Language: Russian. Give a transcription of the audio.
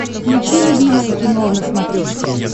включи любимое кино на смотрешке